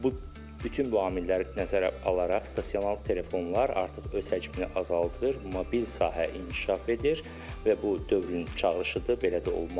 Bu bütün bu amilləri nəzərə alaraq stasionar telefonlar artıq öz həcmini azaldır, mobil sahə inkişaf edir və bu dövrün çağırışıdır, belə də olmalıdır.